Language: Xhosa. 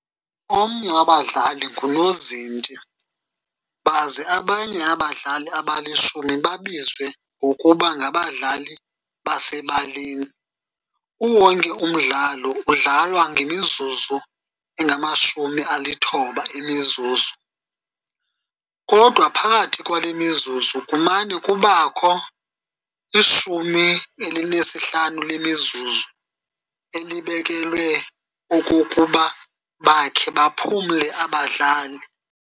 Omnye wabadlali ngunozinti, baze abanye abadlali abalishumi baziwe ngokuba "ngabadlali basebaleni.". Uwonke umdlalo udlalwa ngemizuzu engama-90 emizuzu, kodwa phakathi keale mizuzu kumane kubakho i-15 lemizuzu elibekelwe okokuba bakhe baphumle abadlali.